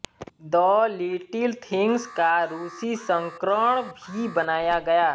the little things का रूसी संस्करण भी बनाया गया